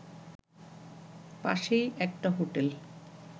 পাশেই একটা হোটেল